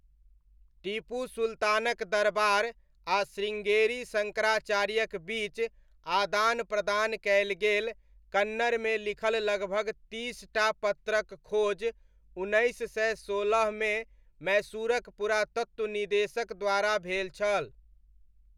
टीपू सुल्तानक दरबार आ शृङ्गेरी शङ्कराचार्यक बीच आदान प्रदान कयल गेल कन्नड़मे लिखल लगभग तीसटा पत्रक खोज उन्नैस सय सोलहमे मैसूरक पुरातत्व निदेशक द्वारा भेल छल।